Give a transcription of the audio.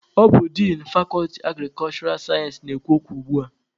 Ọ bụ din fakọlti agrikulshura sayensị na-ekwu okwu ugbua.